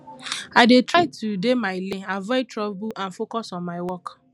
i dey try to dey my lane avoid trouble and focus on my work